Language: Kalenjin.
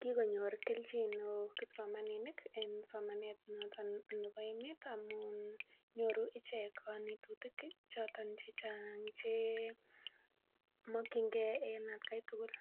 Kikonyor kelchin neoo kipsomaninik en somanet noton nebo emeet amuun nyoru icheket kanetisosiek, choton checheng chemakienge , en at Kai tugul.